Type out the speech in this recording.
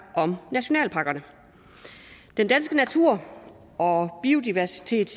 om nationalparkerne ja den danske natur og biodiversitet